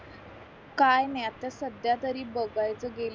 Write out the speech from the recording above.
काय नाय आता सध्या तरी बघ